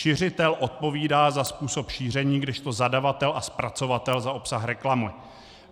Šiřitel odpovídá za způsob šíření, kdežto zadavatel a zpracovatel za obsah reklamy.